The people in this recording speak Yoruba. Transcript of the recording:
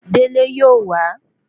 Délé yóò wa